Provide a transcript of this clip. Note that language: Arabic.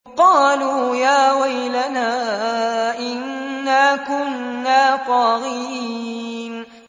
قَالُوا يَا وَيْلَنَا إِنَّا كُنَّا طَاغِينَ